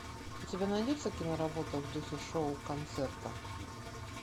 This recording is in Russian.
у тебя найдется киноработа в духе шоу концерта